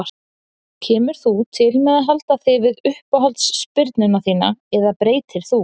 Kemur þú til með að halda þig við uppáhalds spyrnuna þína eða breytir þú?